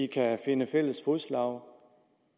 kan finde fælles fodslag